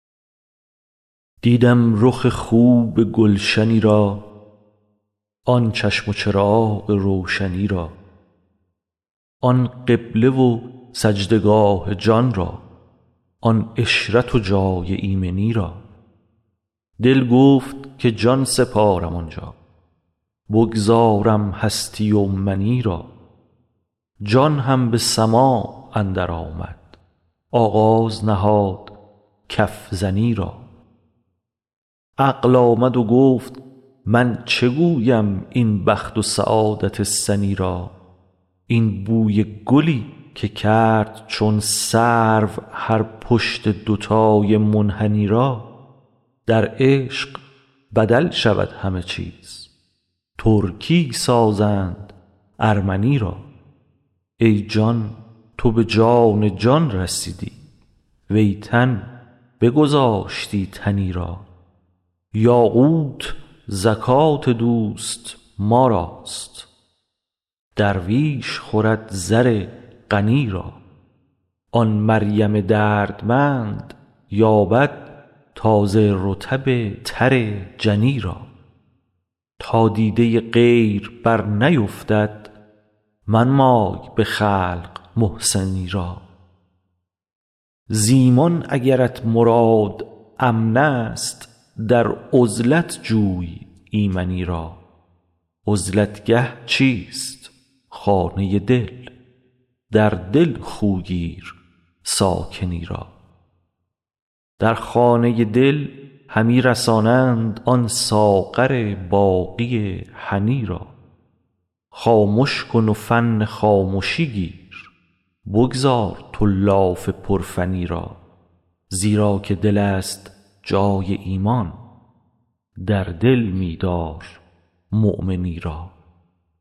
دیدم رخ خوب گلشنی را آن چشم و چراغ روشنی را آن قبله و سجده گاه جان را آن عشرت و جای ایمنی را دل گفت که جان سپارم آن جا بگذارم هستی و منی را جان هم به سماع اندرآمد آغاز نهاد کف زنی را عقل آمد و گفت من چه گویم این بخت و سعادت سنی را این بوی گلی که کرد چون سرو هر پشت دوتای منحنی را در عشق بدل شود همه چیز ترکی سازند ارمنی را ای جان تو به جان جان رسیدی وی تن بگذاشتی تنی را یاقوت زکات دوست ما راست درویش خورد زر غنی را آن مریم دردمند یابد تازه رطب تر جنی را تا دیده غیر برنیفتد منمای به خلق محسنی را ز ایمان اگرت مراد امنست در عزلت جوی ایمنی را عزلت گه چیست خانه دل در دل خو گیر ساکنی را در خانه دل همی رسانند آن ساغر باقی هنی را خامش کن و فن خامشی گیر بگذار تو لاف پرفنی را زیرا که دلست جای ایمان در دل می دارمؤمنی را